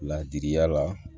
Ladiriya la